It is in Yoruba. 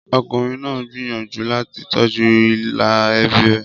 Ọkùnrin náà gbìyànjú láti tọ́jú ìlà ẹbí rẹ̀.